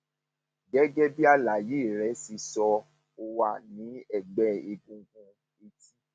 gẹgẹ bí àlàyé rẹ ṣe sọ ó wà ní ẹgbẹ egungun etí